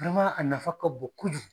a nafa ka bon kojugu.